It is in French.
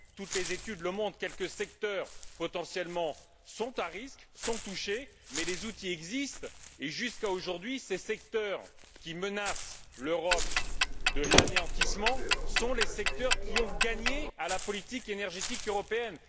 Toutes les études le montrent. Quelques secteurs potentiellement à risque sont touchés, mais les outils existent et jusqu'à ce jour, les secteurs qui menacent l'Europe d'anéantissement sont les secteurs qui ont gagné dans la politique énergétique européenne.